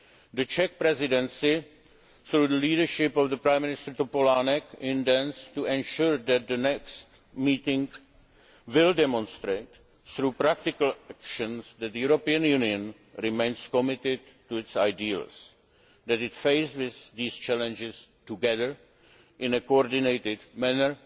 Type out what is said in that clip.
crisis. The Czech Presidency, through the leadership of Prime Minister Topolánek, intends to ensure that the meeting next week demonstrates through practical action that the European Union remains committed to its ideals and that it faces these challenges together in a coordinated